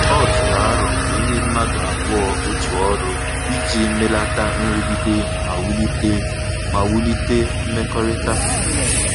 Ọ tụrụ arọ ka ekenye mmadụ abụọ otu ọrụ, iji melata nrụgide ma wulite ma wulite mmekọrịta